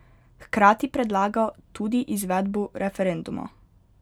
Hkrati predlaga tudi izvedbo referenduma.